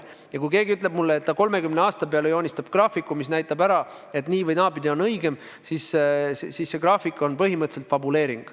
Ja kui keegi ütleb mulle, et ta 30 aasta peale joonistab graafiku, mis näitab ära, et nii- või naapidi on õigem, siis mina ütlen, et see graafik on põhimõtteliselt fabuleering.